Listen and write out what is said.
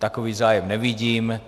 Takový zájem nevidím.